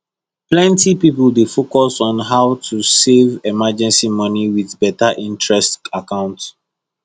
plenty people dey focus on how to save emergency money with better interest account